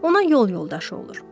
Ona yol yoldaşı olur.